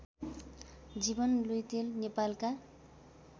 जीवन लुइटेल नेपालका